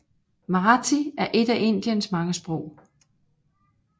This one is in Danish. Marathi er et af Indiens mange sprog